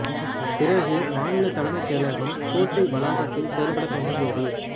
பிறகு மாநிலத் தலைமைச் செயலகம் கோட்டை வளாகத்தில் செயல்படத் தொடங்கியது